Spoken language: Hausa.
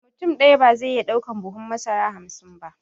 Mutum ɗaya ba zai iya ɗaukan buhun masara hamsin ba